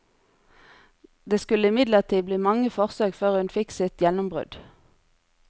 Det skulle imidlertid bli mange forsøk før hun fikk sitt gjennombrudd.